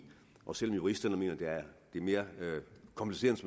og selv om juristerne mener at det er mere kompliceret